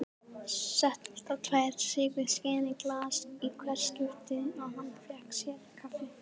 Setti alltaf tvær sykurskeiðar í glas í hvert skipti og hann fékk sér kaffi.